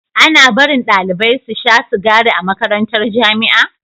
Ana barin ɗalibai susha sigari a makarantar jamia